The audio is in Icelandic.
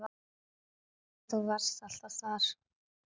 En þú varst alltaf þar.